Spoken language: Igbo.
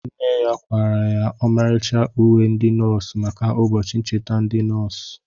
Nne ya kwara ya ọmarịcha uwe ndi nọọsụ maka ụbọchị ncheta ndi nọọsụ